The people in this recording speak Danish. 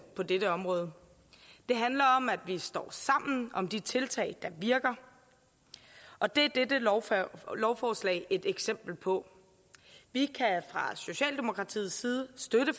på dette område det handler om at vi står sammen om de tiltag der virker og det er dette lovforslag et eksempel på vi kan fra socialdemokraternes side støtte